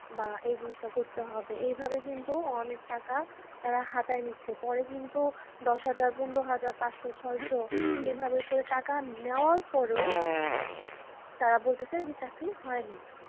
বা এই জিনিষটা করতে হবে। এইভাবে কিন্তু অনেক টাকা তারা হাতায়ে নিচ্ছে পরে কিন্তু দশ হাজার পনেরো হাজার পাঁচশ ছয়শ এইভাবে করে টাকা নেওয়ার পরও তারা বলতেছে যে চাকরি হয়নি।